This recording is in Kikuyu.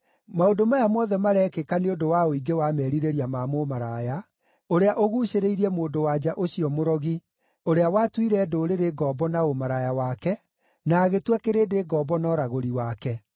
maũndũ maya mothe marekĩka nĩ ũndũ wa ũingĩ wa merirĩria ma mũmaraya, ũrĩa ũguucĩrĩirie mũndũ-wa-nja ũcio mũrogi, ũrĩa watuire ndũrĩrĩ ngombo na ũmaraya wake, na agĩtua kĩrĩndĩ ngombo na ũragũri wake.